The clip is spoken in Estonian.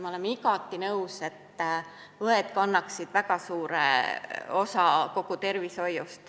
Ma olen igati nõus, et õed kannaksid väga suure osa kogu tervishoiust.